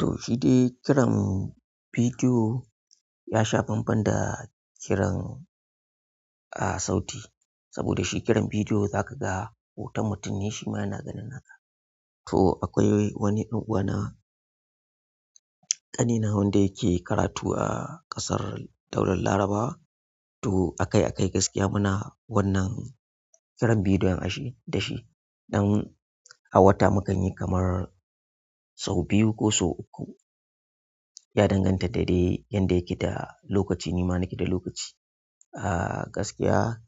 To shi dai kiran bidiyo ya sha bambam da kiran, ah, sauti. Saboda shi kiran bidiyo zakaga hoton mutun ne shima yana ganin naka. To akwai wani ɗan uwana ƙanina wanda yake karatu a ƙasar Daular Laraba. To akai-akai gaskiya muna wannan kiran bidiyo in a shi da shi. Ɗan a wata mu kan yi kamar sau biyu ko sau uku. Ya danganta da dai yanda yake da lokaci ni ma nake da lokaci. Ah, gaskiya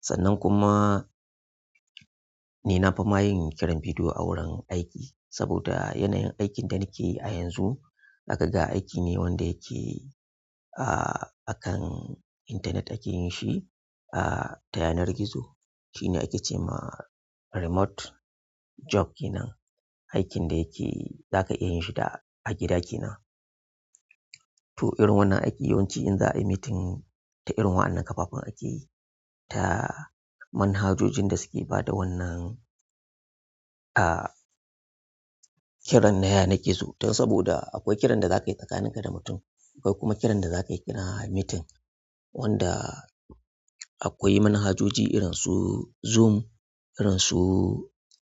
sannan kuma ni na fi ma yin kiran bidiyo a wurin aiki. Saboda yanayin aikine da nikeyi ayanzu zakaga aikine wanda yake a akan internet ake yi shi ta yanar gizo. Shi ne ake ce ma "remote job" kenan. Aikin da yake za ka iya yin shi da a gida ke nan. To irin wannan aiki yawanci in za a yi meeting ta irin wannan kafafen akeyi, ta manhajojin da suke ba da wannan, ah, kiran na ya nan gizo. Dan saboda akwai ƙiran da za ka yi tsakanin ka da mutum. Akwai kuma kiran da za ka yi kiran meeting wanda akwai manhajoji irin su Zoom, irin su,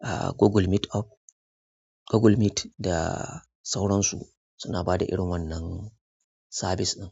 ah, Google Meet Up, Google Meet da sauransu suna ba da irin wannan sabis ɗin.